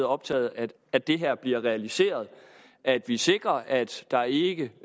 optaget af at det her bliver realiseret og at vi sikrer at der ikke